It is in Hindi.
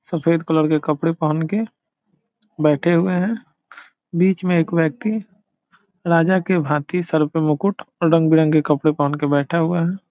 सफेद कलर के कपड़े पहन के बैठे हुए हैं। बीच में एक व्यक्ति राजा के भाती सर पे मुकुट और रंग-बिरंगे कपड़े पहन के बैठा हुआ है।